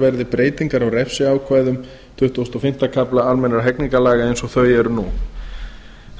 verði breytingar á refsiákvæðum tuttugasta og fimmta kafla almennra hegningarlaga eins og þau eru nú